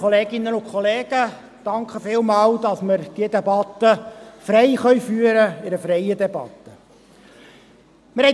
Vielen Dank, dass wir diese Debatte frei führen können, als freie Debatte.